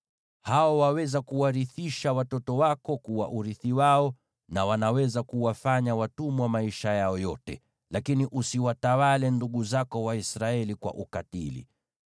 Hao waweza kuwarithisha watoto wako kuwa urithi wao, na wanaweza kuwafanya watumwa maisha yao yote, lakini usiwatawale ndugu zako Waisraeli kwa ukatili.